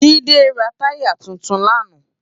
Jide rá tàyá tútún làná